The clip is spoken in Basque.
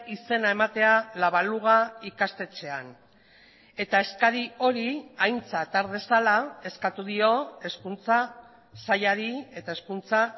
izena ematea la baluga ikastetxean eta eskari hori aintzat har dezala eskatu dio hezkuntza sailari eta hezkuntza